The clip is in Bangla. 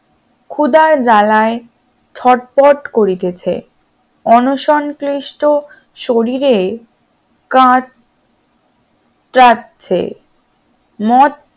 খুদার জ্বালায় ছটফট করিতেছে অনসণক্লিষ্ট শরীরে কাঠ কাটছে মঠ